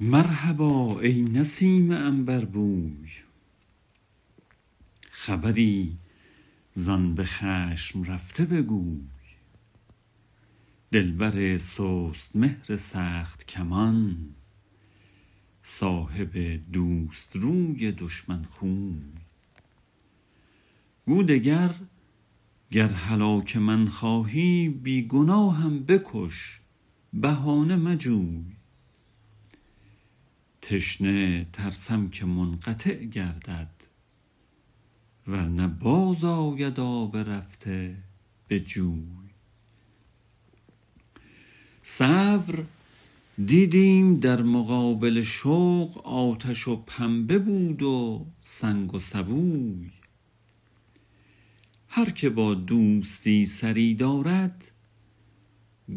مرحبا ای نسیم عنبربوی خبری زآن به خشم رفته بگوی دلبر سست مهر سخت کمان صاحب دوست روی دشمن خوی گو دگر گر هلاک من خواهی بی گناهم بکش بهانه مجوی تشنه ترسم که منقطع گردد ور نه باز آید آب رفته به جوی صبر دیدیم در مقابل شوق آتش و پنبه بود و سنگ و سبوی هر که با دوستی سری دارد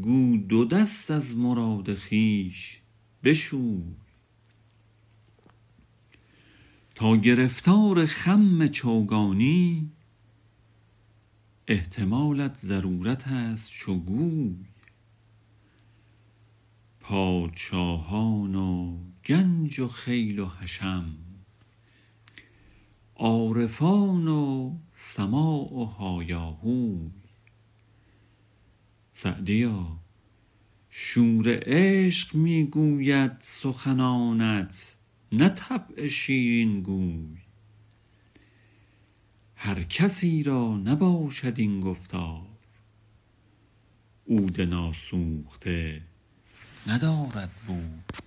گو دو دست از مراد خویش بشوی تا گرفتار خم چوگانی احتمالت ضرورت است چو گوی پادشاهان و گنج و خیل و حشم عارفان و سماع و هایاهوی سعدیا شور عشق می گوید سخنانت نه طبع شیرین گوی هر کسی را نباشد این گفتار عود ناسوخته ندارد بوی